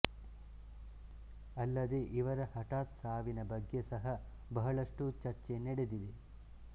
ಅಲ್ಲದೆ ಇವರ ಹಠಾತ್ ಸಾವಿನ ಬಗ್ಗೆ ಸಹ ಬಹಳಷ್ಟು ಚರ್ಚೆ ನಡೆದಿದೆ